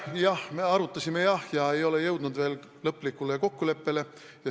Jah, me arutasime, aga ei ole jõudnud veel lõplikule kokkuleppele.